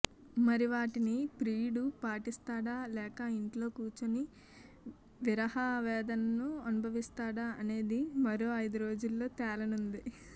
మరి వాటిని ప్రియుడు పాటిస్తాడా లేక ఇంట్లో కూర్చుని విరహ వేదనను అనుభవిస్తాడా అనేది మరో ఐదురోజుల్లో తేలనుంది